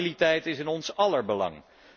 Stabiliteit is in ons aller belang.